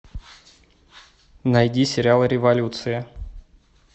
найди сериал революция